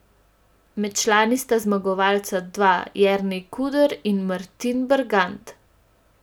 Med člani sta zmagovalca dva Jernej Kruder in Martin Bergant.